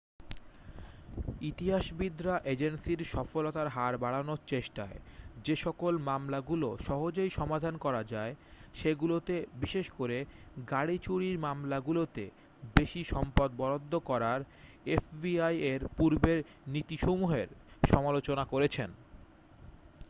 ইতিহাসবিদরা এজেন্সীর সফলতার হার বাড়ানোর চেষ্টায় যেসকল মামলাগুলো সহজেই সমাধান করা যায় সেগুলোতে বিশেষ করে গাড়ি চুরির মামলাগুলোতে বেশি সম্পদ বরাদ্ধ করার এফবিআই এর পূর্বের নীতিসমূহের সমালোচনা করেছেন